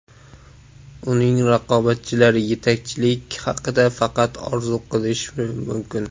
Uning raqobatchilari yetakchilik haqida faqat orzu qilishi mumkin.